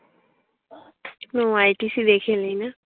no ITC দেখে এলি না?